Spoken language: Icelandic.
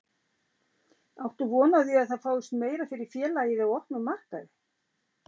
Áttu von á því að það fáist meira fyrir félagið í, á opnum markaði?